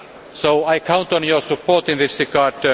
so I count on your support in this regard.